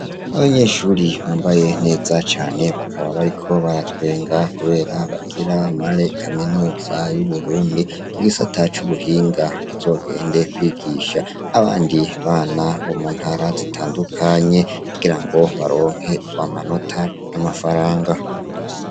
Abanyeshuri bambaye neza cane bakaba bariko baratwenga kubera bagira muri kaminuza y' Uburundi mugisata c' ubuhinga bazogende kwigisha abandi bana bo mu ntara zitandukanye kugirango baronke amanota n' amafaranga.